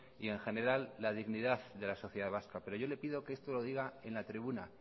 y en general la dignidad de la sociedad vasca pero yo le pido que esto lo diga en la tribuna